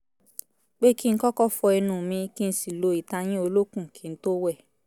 pé kí n kọ́kọ́ fọ ẹnu mi kí n sì lo ìtayín olókùn kí n tó wẹ̀